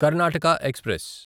Karnataka express